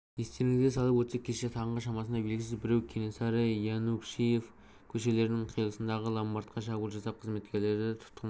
естеріңізге салып өтсек кеше таңғы шамасында белгісіз біреу кенесары-янушкевич көшелерінің қиылысындағы ломбардқа шабуыл жасап қызметкерді тұтқынға